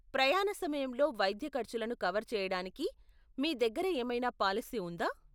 ప్రయాణ సమయంలో వైద్య ఖర్చులను కవర్ చేయడానికి మీ దగ్గర ఏమైనా పాలసీ ఉందా ?